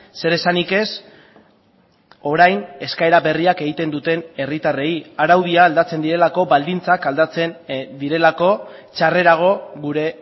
zeresanik ez orain eskaera berriak egiten duten herritarrei araudia aldatzen direlako baldintzak aldatzen direlako txarrerago gure